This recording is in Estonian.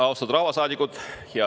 Austatud rahvasaadikud!